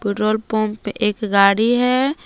Petrol pump पे एक गाड़ी है।